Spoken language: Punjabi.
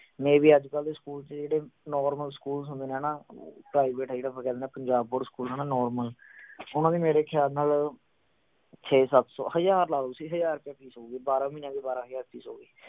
maybe ਅੱਜਕਲ ਦੇ ਸਕੂਲ ਚ ਜਿਹੜੇ normal schools ਹੁੰਦੇ ਨੇ ਹਣਾ private ਹੈ ਜਿਹੜਾ ਆਪਾਂ ਕਹਿ ਦਿੰਨੇ ਆ ਪੰਜਾਬ board school ਹਣਾ normal ਓਹਨਾ ਦੀ ਮੇਰੇ ਖਿਆਲ ਨਾਲ ਛੇ ਸੱਤ ਸੌ ਹਜਾਰ ਲਾ ਲਓ ਤੁਸੀਂ ਹਜਾਰ ਰੁਪਿਆ fees ਹੋਊਗੀ ਬਾਰਾਂ ਮਹੀਨਿਆਂ ਬਾਰਾਂ ਹਜਾਰ fees ਹੋ ਗਈ